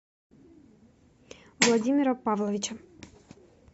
владимира павловича